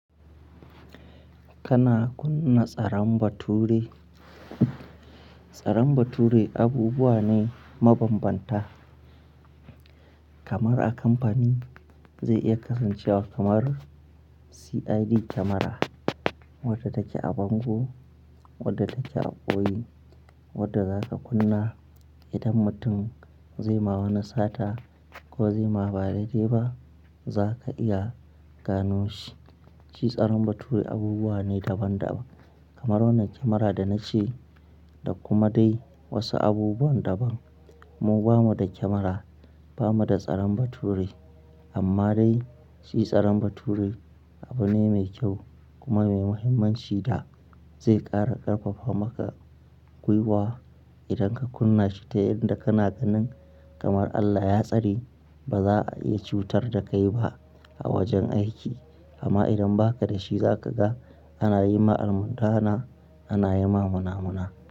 Kana kunna tsaron bature. Tsaron bature abubuwa ne mabanbanta kamar a kamfani zai iya kasancewa kamar CID kamara wadda take a bango, wadda take a boye, wadda zaka kunna idan mutum zai yi maka wani sata ko zai maka ba daidai ba zaka iya gano shi. Shi tsaron bature abubuwa ne daban-daban kamar wannan kamara da na ce da kuma dai wasu abubuwan daban. Mu bamu da kamara, bamu da tsaron bature amma dai shi tsaron bature abu ne mai kyau kuma mai muhimmanci da zai ƙara ƙarfafa maka gwiwa idan ka kunna shi ta yadda kana ganin kamar Allah ya tsare ba za a iya cutar da kai ba a wajen aiki amma idan ba ka da shi za ka ga ana yi ma almundahana, ana yi ma munafunci.